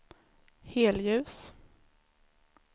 helljus